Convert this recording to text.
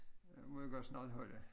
Nu må vi godt snart holde